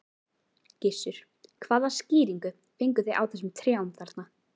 Gissur: Hvaða skýringu fengu þig á þessum trjám þarna?